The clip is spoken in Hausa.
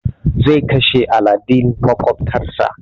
Zai kashe aladen maƙwabtar sa.